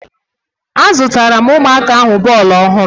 Azụtara m ụmụaka ahụ bọọlụ ọhụrụ.